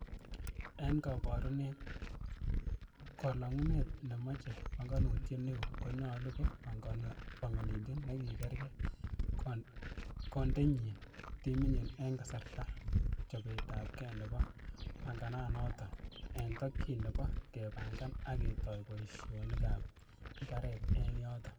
En koborunet, kolongunet nemoche pongonutiek neo, konyolu ko pongonindet nekikeere konendochin timinyin en kasartaab chobetabgee nebo pangananoton, en tokyin nebo kepangan ak ketoi boisionikab imbaret en yoton.